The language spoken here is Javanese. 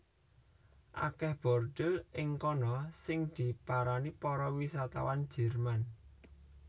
Akèh bordhil ing kana sing diparani para wisatawan Jèrman